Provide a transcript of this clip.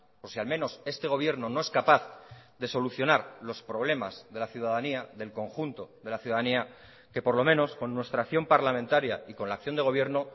o si al menos este gobierno no es capaz de solucionar los problemas de la ciudadanía del conjunto de la ciudadanía que por lo menos con nuestra acción parlamentaria y con la acción de gobierno